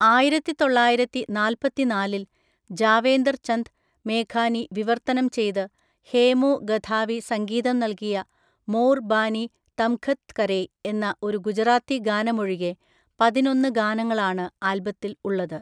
ആയിരത്തിതൊള്ളായിരത്തിനാല്പത്തിനാലിൽ ജാവേർചന്ദ് മേഘാനി വിവർത്തനം ചെയ്ത് ഹേമു ഗധാവി സംഗീതം നൽകിയ മോർ ബാനി തംഘത് കരേ എന്ന ഒരു ഗുജറാത്തി ഗാനമൊഴികെ പതിനൊന്ന് ഗാനങ്ങളാണ് ആൽബത്തിൽ ഉള്ളത്.